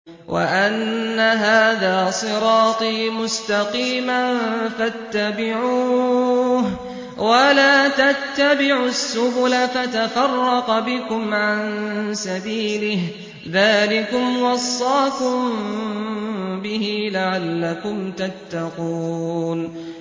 وَأَنَّ هَٰذَا صِرَاطِي مُسْتَقِيمًا فَاتَّبِعُوهُ ۖ وَلَا تَتَّبِعُوا السُّبُلَ فَتَفَرَّقَ بِكُمْ عَن سَبِيلِهِ ۚ ذَٰلِكُمْ وَصَّاكُم بِهِ لَعَلَّكُمْ تَتَّقُونَ